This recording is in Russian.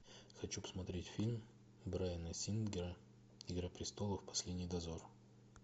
хочу посмотреть фильм брайана сингера игра престолов последний дозор